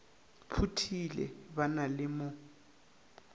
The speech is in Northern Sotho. phuthile ba na le mo